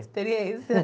Experiência.